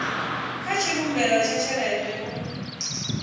kha tshivhumbeo tsha tshelede u